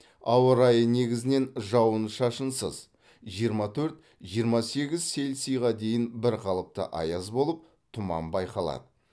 ауа райы негізінен жауын шашынсыз жиырма төрт жиырма сегіз цельсийға дейін бірқалыпты аяз болып тұман байқалады